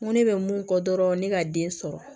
Ŋo ne bɛ mun fɔ dɔrɔn ne ka den sɔrɔ